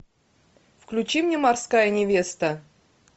включи мне морская невеста